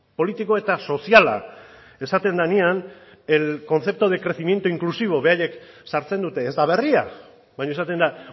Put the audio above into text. politiko eta soziala esaten denean el concepto de crecimiento inclusivo beraiek sartzen dute ez da berria baina esaten da